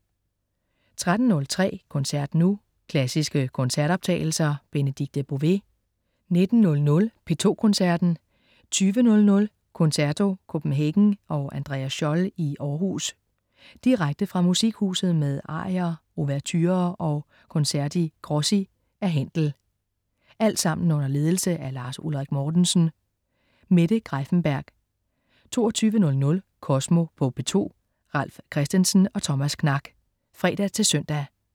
13.03 Koncert nu. Klassiske koncertoptagelser. Benedikte Bové 19.00 P2 Koncerten. 20.00 Concerto Copenhagen og Andreas Scholl i Århus. Direkte fra Musikhuset med arier, ouverturer og concerti grossi af Händel. Alt sammen under ledelse af Lars Ulrik Mortensen. Mette Greiffenberg 22.00 Kosmo på P2. Ralf Christensen og Thomas Knak (fre-søn)